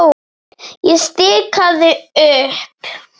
Ég stikaði upp